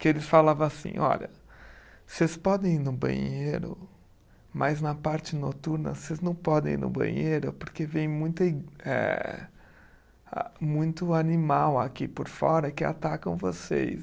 que eles falava assim, olha, vocês podem ir no banheiro, mas na parte noturna vocês não podem ir no banheiro porque vem muita i, eh a muito animal aqui por fora que atacam vocês.